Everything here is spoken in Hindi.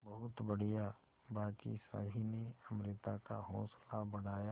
बहुत बढ़िया बाकी सभी ने अमृता का हौसला बढ़ाया